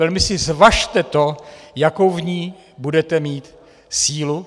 Velmi si zvažte to, jakou v ní budete mít sílu.